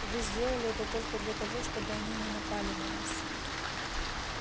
вы сделали это только для того чтобы они не напали на нас